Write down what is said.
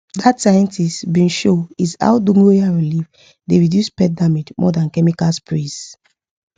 that scientist bin show is how dogoyaro leave dey reduce pest damage more than chemical sprays